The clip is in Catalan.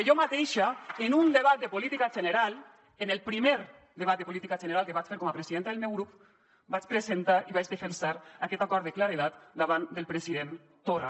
neral en el primer debat de política general que vaig fer com a presidenta del meu grup vaig presentar i vaig defensar aquest acord de claredat davant del president torra